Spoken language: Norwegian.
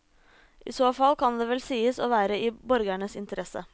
I så fall kan vel det sies å være i borgernes interesse.